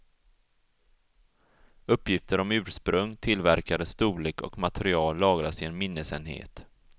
Uppgifter om ursprung, tillverkare, storlek och material lagras i en minnesenhet.